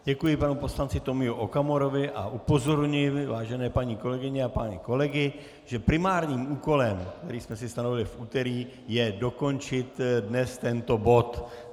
Děkuji panu poslanci Tomiu Okamurovi a upozorňuji, vážené paní kolegyně a pány kolegy, že primárním úkolem, který jsme si stanovili v úterý, je dokončit dnes tento bod.